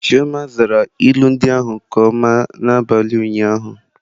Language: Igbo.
Chioma zara ilu ndị ahụ nke ọma n'abalị ụnyaahụ.